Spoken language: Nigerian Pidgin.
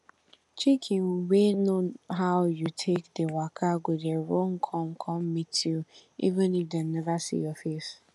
chicken wey know how you take dey waka go dey run come come meet you even if dem neva see your face